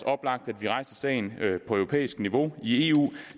oplagt at vi rejser sagen på europæisk niveau i eu